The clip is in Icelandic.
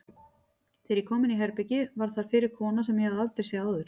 Þegar ég kom inní herbergið var þar fyrir kona sem ég hafði aldrei séð áður.